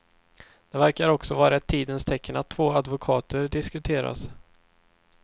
Det verkar också vara ett tidens tecken att två advokater diskuteras.